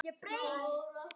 Þú varst mér allt.